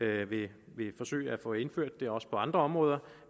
vil forsøge at få det indført også på andre områder